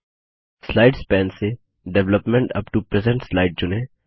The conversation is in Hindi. स्लाइड्स पैन से development up to present slide चुनें